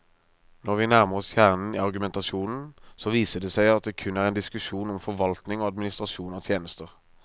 Når vi nærmer oss kjernen i argumentasjonen, så viser det seg at det kun er en diskusjon om forvaltning og administrasjon av tjenester.